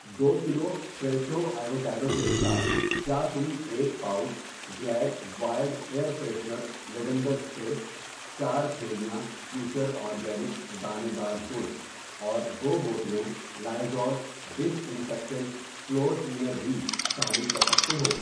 دو kilo Fresho avocado کے ساتھ کیا تم ایک pouch Glade wild air freshener lavender spray, چار تھیلیاں فیوچر اورگینکس دانے دار گڑ اور دو بوتلیں Lysol disinfectant floor cleaner بھی شامل کر سکتے ہو؟